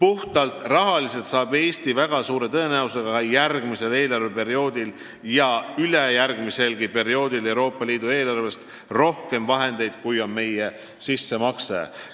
Aga kokkuvõttes saab Eesti väga suure tõenäosusega ka järgmisel ja ülejärgmiselgi eelarveperioodil Euroopa Liidu eelarvest rohkem raha, kui me sinna sisse maksame.